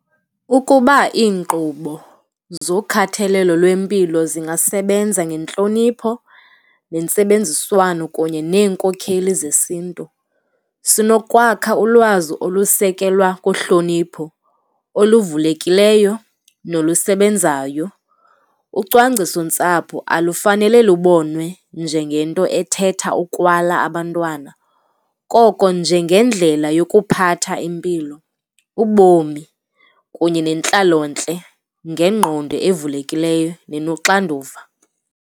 Ukuba iinkqubo zokhathalelo lwempilo zingasebenza ngentlonipho nentsebenziswano kunye neenkokheli zesiNtu, sinokwakha ulwazi olusekelwe kuhlonipho oluvulekileyo nolusebenzayo. Ucwangcisontsapho alufanele lubonwe njengento ethetha ukwala abantwana, koko njengendlela yokuphatha impilo, ubomi kunye nentlalontle ngengqondo evulekileyo nenoxanduva.